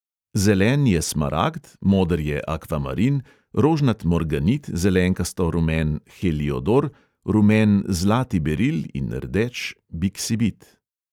Zelen je smaragd, moder akvamarin, rožnat morganit, zelenkasto rumen heliodor, rumen zlati beril in rdeč biksibit.